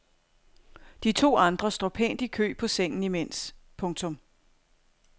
De to andre står pænt i kø på sengen imens. punktum